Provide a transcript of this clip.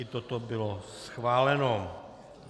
I toto bylo schváleno.